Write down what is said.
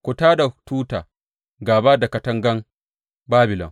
Ku tā da tuta gāba da katangan Babilon!